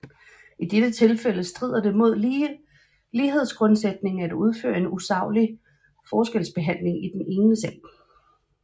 I dette tilfælde strider det mod lighedsgrundsætningen at udføre en usaglig forskelsbehandling i den ene sag